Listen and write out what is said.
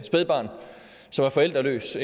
spædbarn som er forældreløs